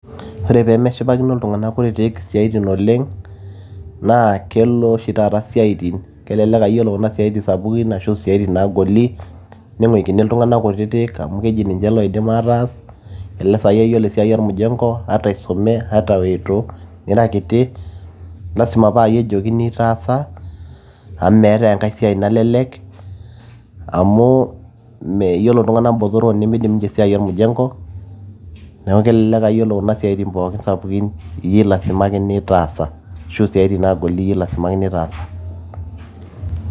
ore peemeshipakino iltung'anak kutitik isiatin oleng naa kelo oshi taata isiatin kelelek aa yiolo kuna siaitin sapukin ashu isiatin naagoli ning'uikini iltung'anak kutitik amu keji ninche loidim ataas elelek sai aa yiolo esiai ormjengo ata isume ata weitu nira kiti lasima paayie ejokini taasa amu meetay enkay siai nalelek amu yiolo iltung'anak botoro nimidim ninche esiai ormjengo neeku kelelek aa yiolo kuna siatin pookin sapukin iyie ilasimakini taasa ashu isiatin naagoli iyie ilasimakini taasa.